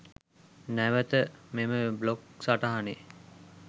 නැවත මෙම බ්ලොග් සටහනේ